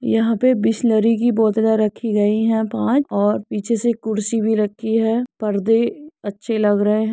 यहाँ पे बिसलेरी की बोतलें रखी गयी है पांच और पीछे से एक कुर्सी भी रखी हैपर्दें अच्छे लग रहे हैं।